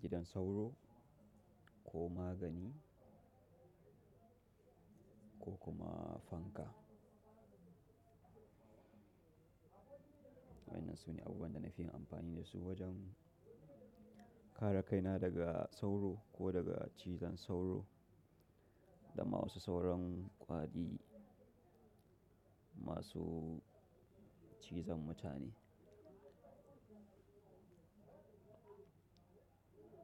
gidan sauro ko magani ko kuma fanka. Waɗannan su ne abubuwan da na fi amfani da su wajen kare kaina daga sauro ko daga cizon sauro da ma wasu sauran ka i masu cizon mutane.